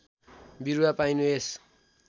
बिरुवा पाइनु यस